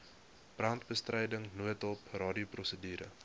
brandbestryding noodhulp radioprosedure